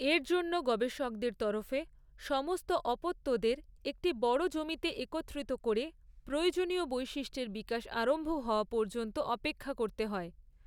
এর জন্য গবেষকদের তরফে সমস্ত অপত্যদের একটি বড় জমিতে একত্রিত করে প্রয়োজনীয় বৈশিষ্ট্যের বিকাশ আরম্ভ হওয়া পর্যন্ত অপেক্ষা করতে হয়।